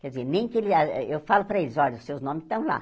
Quer dizer, nem que ele ah ah... Eu falo para eles, olha, os seus nomes estão lá.